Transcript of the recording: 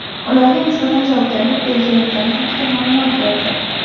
ularga nisbatan javobgarlik belgilangani haqida ma’lumot berdi.